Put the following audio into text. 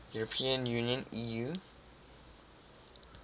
european union eu